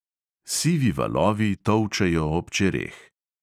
Sivi valovi tolčejo ob čereh.